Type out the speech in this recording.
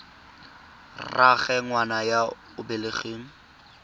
rraagwe ngwana yo o belegweng